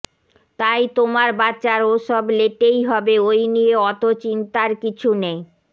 তাই তোমার বাচ্চার ও সব লেটে ই হবে ওই নিয়ে অত চিন্তার কিছু নেই